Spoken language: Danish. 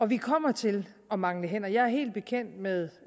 vi kommer til at mangle hænder jeg er helt bekendt med